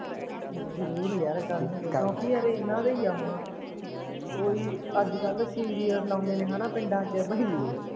ਜਰੂਰ ਯਾਰ ਕਰਨਗੇ ਕਿਓਕਿ ਯਾਰ ਏਹਨਾ ਦਾ ਈ ਐ ਹੁਣ ਓਹੀ ਅੱਜ ਕੱਲ ਸੀਰੀਅਲ ਲਾਉਂਦੇ ਨੇ ਪਿੰਡਾਂ ਚ ਬਈਏ